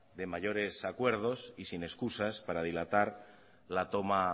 de mayores acuerdo y sin escusas para dilatar la toma